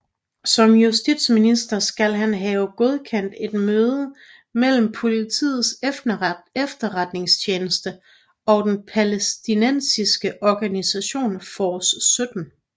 Som justitsminister skal han have godkendt et møde mellem Politiets Efterretningstjeneste og den palæstinensiske organisation Force 17